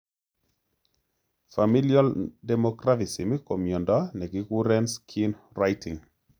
Familial dermographism ko myondo nekikuren skin writing